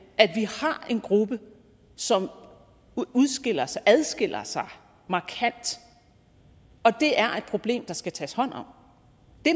at vi har en gruppe som udskiller sig og adskiller sig markant og det er problem der skal tages hånd om